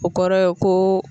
O kɔrɔ ye ko